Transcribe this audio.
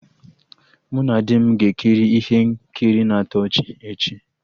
Mụ na di m ga-ekiri ihe nkiri na-atọ ọchị echi